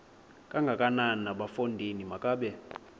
kangakanana bafondini makabe